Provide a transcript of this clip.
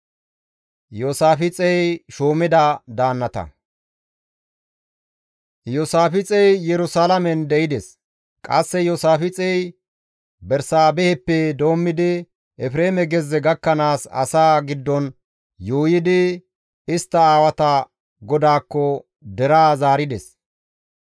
Iyoosaafixey Yerusalaamen de7ides. Qasse Iyoosaafixey Bersaabeheppe doommidi, Efreeme gezze gakkanaas, asaa giddon yuuyidi, istta aawata GODAAKKO deraa zaarides.